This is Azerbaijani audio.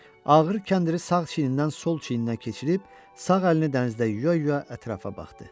Ağır kəndiri sağ çiynindən sol çiyninə keçirib, sağ əlini dənizdə yuya-yuya ətrafa baxdı.